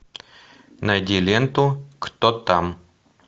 найди ленту кто там